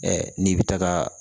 n'i bɛ taaga